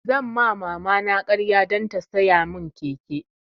Zan ma mama na ƙarya dan ta siya mun keke